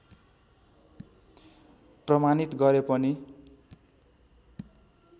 प्रमाणित गरे पनि